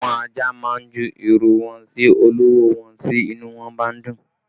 Àwọn ajá má ń ju ìrù wọn sí olówó wọn tí inú wọn bá ń dùn